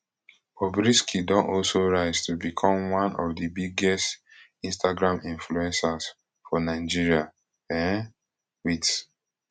bobrisky don also rise to become one of di biggest instagram influencers for nigeria um wit